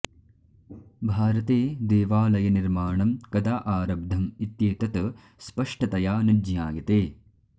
भारते देवालयनिर्माणं कदा आरब्धम् इत्येतत् स्पष्टतया न ज्ञायते